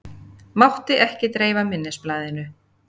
Mátti ekki dreifa minnisblaðinu